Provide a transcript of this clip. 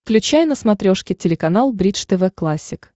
включай на смотрешке телеканал бридж тв классик